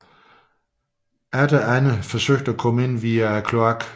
Atter andre forsøgte at komme ind via kloakken